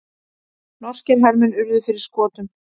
Norskir hermenn urðu fyrir skotum